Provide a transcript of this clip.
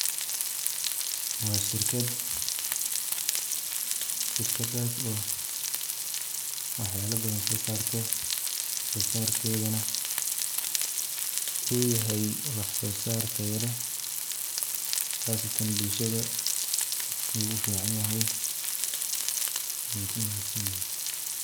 Wa sharkad, sharkadas oo wax yala badhan sosarto, wax sosarkedhana u yahay wax sosar taya leh, qasatan bulshada yu uficinyahay wana kumadsinyihin.